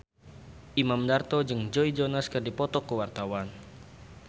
Imam Darto jeung Joe Jonas keur dipoto ku wartawan